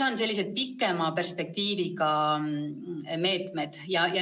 On ka sellised kaugema perspektiiviga meetmed.